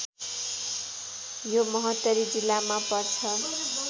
यो महोत्तरी जिल्लामा पर्छ